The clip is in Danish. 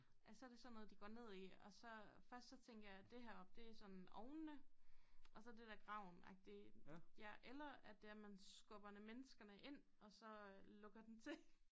At så det sådan noget de går ned i og så først så tænker jeg at det her oppe det sådan ovnene og så det der gravenagtig ja eller at det er man skubber menneskene ind og så lukker den til